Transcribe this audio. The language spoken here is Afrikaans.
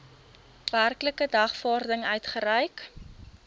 werklike dagvaarding uitgereik